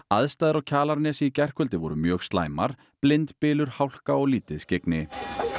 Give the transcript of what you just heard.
aðstæður á Kjalarnesi í gærkvöldi voru mjög slæmar blindbylur hálka og lítið skyggni